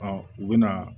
u bɛ na